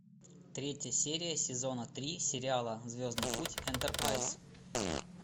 третья серия сезона три сериала звездный путь энтерпрайз